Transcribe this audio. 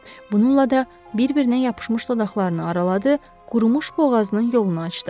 Bununla da bir-birinə yapışmış dodaqlarını araladı, qurumuş boğazının yolunu açdı.